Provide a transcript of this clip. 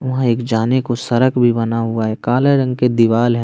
वहां एक जाने को सरक भी बना हुआ है काले रंग की दीवाल है।